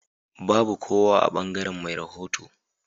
Babu kowa a bangaren me rahoto.